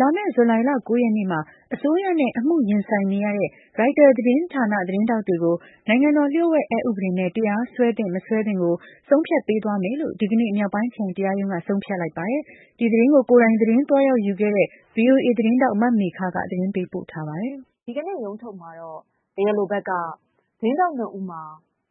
လာမယ့် ဇူလိုင် ၉ ရက်နေ့မှာ အစိုးရနဲ့ အမှုရင်ဆိုင်နေရတဲ့ ရိုက်တာသတင်းဌာနသတင်းထောက် တွေကို နိုင်ငံတော် လ ျှို့ဝှက် အက်ဥပဒေနဲ့ တရားစွဲသင့်မသင့် ကို ဆုံးဖြတ်ပေးသွားမယ်လို့ ဒီကနေ့မြောက်ပိုင်းခရိုင်တရားရုံးက ဆုံးဖြတ် လိုက်ပါတယ်။ ဒီသတင်းကို ကိုယ်တိုင်သတင်းသွားရောက်ယူခဲ့တဲ့ ဗွီအိုအေသတင်းထောက်မေခက ပေးပို့ထားတာပါ။ ဒီကနေ့ ရုံးထုတ်မှာတော့ တရားလိုဘက်ကတော့ သတင်းထောက်၂ဦးမှာ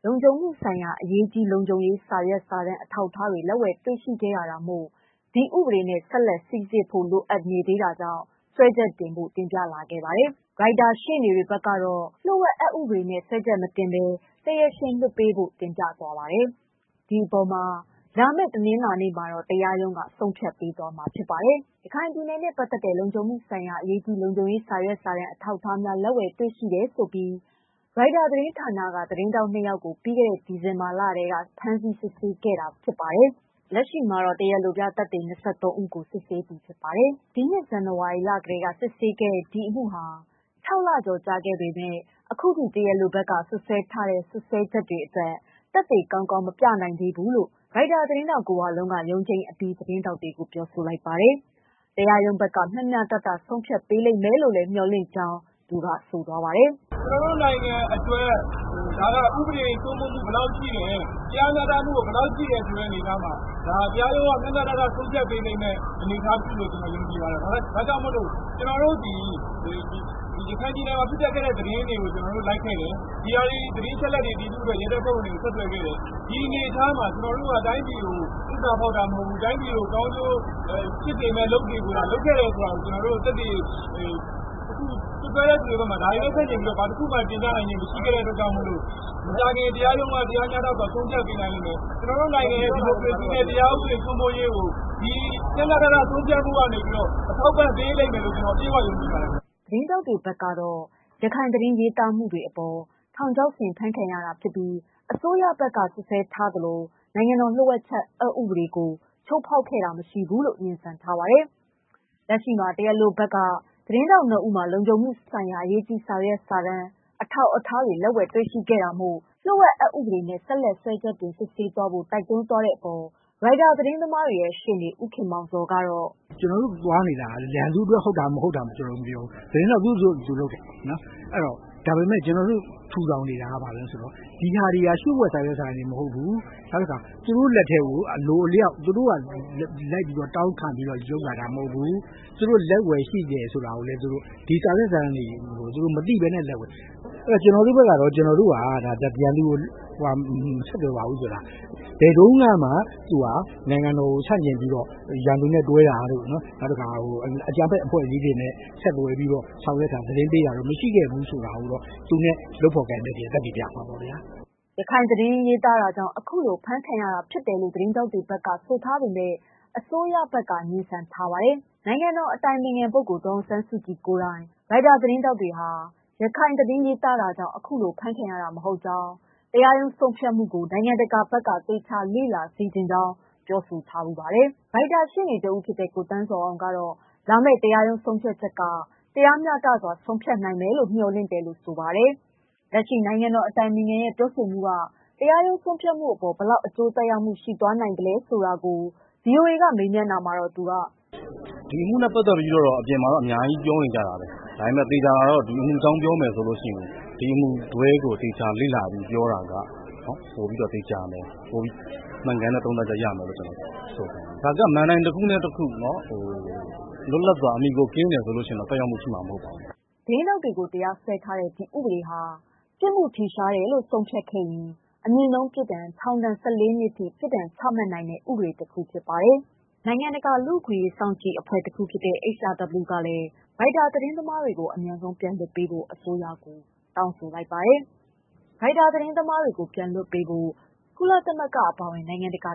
လုံခြုံမှုဆိုင်ရာ အရေးကြီးလုံခြုံရေးစာရွက် စာတမ်း အထောက်အထားများ လက်ဝယ်တွေ့ရှိခဲ့ရတာမို့ ဒီဥပဒေနဲ့ ဆက်လက် စိစစ်ဖို့လိုအပ်နေသေးကြောင့် စွဲချက်တင်ဖို့ တင်ပြလာခဲ့ပြီး ရိုက်တာရှေ့နေတွေဘက်ကတော့ လ ျှို့ဝှက် အက်ဥပဒေနဲ့ စွဲချက်မတင်ဘဲတရားရှင်လွှတ်ဖို့ တင်ပြသွားတာပါ။ ဒီအပေါ်လာမယ့် တနင်္လာနေ့မှာ တရားရုံးက ဆုံးဖြတ်ပေးသွားမှာပါ။ ရခိုင်ပြည်နယ်နဲ့ပတ်သတ်တဲ့ လုံခြုံမှုဆိုင်ရာ အရေးကြီးလုံခြုံရေးစာရွက်စာတမ်း အထောက်အထားများ လက်ဝယ်တွေ့ရှိ တယ်လို့ဆိုပြီး ရိုက်တာသတင်းဌာနက သတင်းထောက်၂ယောက်ကို ပြီးခဲ့တဲ့ ဒီဇင်ဘာလထဲက ဖမ်းဆီးစစ်ဆေးခဲ့တာ ဖြစ်ပြီး လက်ရှိမှာ တရားလိုပြသက်သေ ၂၃ဦးကို စစ်ဆေးပြီးပြီ ဖြစ်ပါတယ်။ ဒီနှစ် ဇန်နဝါရီလကတည်းက စစ်ဆေးခဲ့တဲ့ ဒီအမှုဟာ ၆ လ ကျော် လာခဲ့ပေမယ့် အခုထိ တရားလိုဘက်က စွပ်စွဲထား တဲ့ စွပ်စွဲချက်တွေအတွက် သက်သေ ကောင်းကောင်း မပြနိုင်ခဲ့ဘူးလို့ ကိုဝလုံးက တနင်္လာနေ့ ရုံးချိန်းအပြီး သတင်း ထောက်တွေကို ပြောပါတယ်။ တရားရုံးဘက်က မ ျှမ ျှတတ ဆုံးဖြတ်ပေးလိမ့်မယ်လို့မေ ျှာ်လင့်တယ်လို့လည်းဆိုပါ တယ်။ "ကျနော်တို့နိုင်ငံအတွက် ဥပဒေစိုးမိုးမှုဘယ်လောက်ရှိတယ် တရားမ ျှတမှုဘယ်လောက်ရှိတယ်ဆိုတဲ့ အနေ အထားမှာ တရားရုံးကမ ျှမ ျှတတဆုံးဖြတ်ပေးမယ်လို့မေ ျှာ်လင့်ပါတယ်။ ရခိုင်ပြည်နယ်မှာ ဖြစ်ပျက်ခဲ့တဲ့ သတင်းတွေ ကို ကျနော်တို့လိုက်ခဲ့တယ်။ ဒီအနေအထားမှာ တိုင်းပြည်ကိုသစ္စာဖောက်တာမဟုတ်ဘူး။ တိုင်းပြည်ကိုကောင်းကျိုး ဖြစ်စေမယ့် အလုပ်ကို လုပ်နေတယ်ဆိုတာ စွပ်စွဲတဲ့သူတွေဘက်က ဒါတွေနဲ့ဆန့်ကျင်ပြီး သက်သေပြနိုင်တာ မရှိခဲ့တာ မို့လို့ မကြာခင် တရားရုံးဘက်က တရားမ ျှတစွာဆုံးဖြတ်နိုင်ပါလိမ့်မယ်။ ကျနော်တို့နိုင်ငံရဲ့ တရားဥပဒေစိုးမိုးရေးနဲ့ ဒီမိုကရေစီ ကိုဒီမ ျှမ ျှတတ ဆုံးဖြတ်မှုကအထောက်အပံပေးလိမ့်မယ်လို့ ကျနော်တို့ယုံကြည်ပါတယ်" သတင်းထောက်တွေဘက်ကတော့ ရခိုင်သ တင်းရေးသားမှုတွေအပေါ် ထောက်ခြောက်ဆင်ဖမ်းဆီးခံရတာဖြစ်ပြီး အစိုးရဘက်က စွပ်စွဲသလို နိုင်ငံတော် လျှို့ဝှက်ချက် များအက်ဥပဒေ ကိုချိုးဖောက်ခဲ့တာမရှိကြောင်း ငြင်းဆန်ထားပါတယ်။ လက်ရှိမှာ တရားလိုဘက်က သတင်း ထောက်၂ဦးမှာ လုံခြုံမှုဆိုင်ရာ အရေးကြီးလုံခြုံရေးစာရွက် စာတမ်း အထောက် အထားများ လက်ဝယ်တွေ့ရှိခဲ့ရတာမို့ လျို့ဝှက် အက်ဥပဒေနဲ့ ဆက်လက် စွဲချက်တင်ဖို့တိုက်တွန်း သွားတဲ့အပေါ် ရိုက်တာသတင်းသမားတွေရဲ့ရှေ့နေ ဦးခင်မောင်ဇော်ကတော့ "ကျနော်တို့သွားနေတာက ရန်သူအတွက် ဟုတ်တာမဟုတ်တာကိုမပြောဘူး။ သတင်းထောက် သူ့အလုပ်သူလုပ်တယ်။ ကျနော်တို့ထူထောင်နေတာက ဒါတွေက လျို့ဝှက် စာရွက်စာတမ်းတွေမဟုတ်ဘူး။ သူတို့က အလိုအလျောက်တောင်းခံလုပ်လာတာမဟုတ်ဘူး.။ လက်ဝယ်ရှိခဲ့တာကလည်း မသိဘဲလက်ဝယ်ရှိခဲ့တာ။ အဲဒါတွေနဲ့ ကျနော်တို့သွားထားတယ်။ ကျနော်တို့ဘက်ကတော့သူတို့ပြောသလိုရန်သူကိုမဆက်သွယ်ဘူးဆိုတာပြထားတယ်။ သူတို့ဟာ ဘယ်တုန်းကမှ အကြမ်းဖက် အဖွဲ့တွေနဲ့ တွဲတာ၊ လက်နက်ကိုင်အဖွဲ့တွေနဲ့ တွဲတာမရှိခဲ့တာကို သူနဲ့လုပ် ဖော်ကိုင်ဖက်တွေက သက်သေပြမှာပါ" လက်ရှိမှာ ရခိုင်သတင်းရေးသားတာကြောင့် အခုလို အဖမ်းခံရတာဖြစ်တယ်လို့ သတင်းထောက်တွေဘက်က ဆိုထား ပေမယ့် အစိုးရဘက်က ငြင်းဆန်ထားပါတယ်။ နိုင်ငံတော်အတိုင်ပင်ခံဒေါ်အောင်ဆန်းစုကြည်ကိုယ်တိုင် ရိုက်တာသတင်းထောက်တွေဟာ ရခိုင်သတင်းရေးသားတာကြောင့် အခုလိုဖမ်းခံရတာမဟုတ်ကြောင်း တရားရုံးဆုံး ဖြတ်မှုကို နိုင်ငံတကာ ဘက်က သေချာလေ့လာစေချင်ကြောင်းပြောဆိုထားပါတယ်။ ရိုက်တာရှေ့နေ တဦးဖြစ်တဲ့ ကိုသန်းဇော်အောင်ကတော့ လာမယ့် တရားရုံးဆုံးဖြတ်ချက်က တရားမ ျှတစွာ ဆုံးဖြတ် နိုင်မယ်လို့မေ ျှာ်လင့်တယ်လို့ဆိုပါတယ်။ လက်ရှိ နိုင်ငံတော်အတိုင်ပင်ခံ ရဲ့ပြောဆိုမှုက တရားရုံးဆုံဖြတ်မှုအပေါ် ဘယ်လောက် အကျိုးသက်ရောက်မှု ရှိနိုင်သလဲဆိုတာကို ဗွီအိုအေကမေးတာမှာ သူက "ဒီအမှုနဲ့ပတ်သတ်လို့ အပြင်မှာတော့ အမျိုးမျိုးပြောနေကြတာဘဲ။ ဒီအမှုနဲ့ပတ်သတ်လို့ပြောမယ်ဆို ဒီအမှုကိုသေချာ လေ့လာပြီးမှပြောမယ်ဆို တိကျပြီးမှန်ကန်တဲ့ ဆုံးဖြတ်ချက်တခုရမယ်လို့ကျနော်ပြောချင်ပါတယ်။ ဒါကမဏ္ဍိုင်တခုနဲ့ တခု လွတ်လပ်စွာ အမှီအခိုကင်းတယ်ဆိုရင်တော့ ဘာသက်ရောက်မှုမှရှိမှာမဟုတ်ပါဘူး" သတင်းထောက်တွေကို တရားစွဲထားတဲ့ ဒီဥပဒေဟာ ပြစ်မှုထင်ရှားတယ်လို့ဆုံးဖြတ်ခဲ့ရင် အမြင့်ဆုံးပြစ်ဒဏ် ထောင်ဒဏ် ၁၄ နှစ်ထိပြစ် ဒဏ်ချမှတ်နိုင်တဲ့ ဥပဒေတခုဖြစ်ပါတယ်။ နိုင်ငံတကာ လူ့အခွင့်အရေးစောင့်ကြည့်ရေး အဖွဲ့က ရိုက်တာသတင်းသမားတွေကို အမြန်ဆုံးပြန်လွှတ်ပေးဖို့ တောင်းဆိုူလိုက်ပါတယ်။ ဒီအပြင် ကုလသမဂ္ဂအပါ အဝင် နိုင်ငံတကာ